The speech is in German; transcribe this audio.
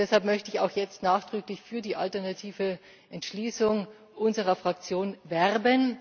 Deshalb möchte ich jetzt auch nachdrücklich für die alternative Entschließung unserer Fraktion werben.